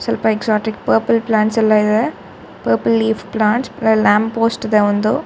ಸ್ವಲ್ಪ exotic purple plants ಎಲ್ಲಾ ಇದೆ. ಪರ್ಪಲ್ ಲೀಫ್ ಪ್ಲಾಂಟ್ಸ್ ಅಲ್ಲಿ ಲ್ಯಾಂಪ್ ಪೋಸ್ಟ್ ಇದೆ ಒಂದು.